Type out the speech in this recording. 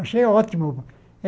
Achei ótimo. Eh